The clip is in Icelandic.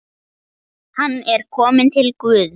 Hann er kominn til Guðs.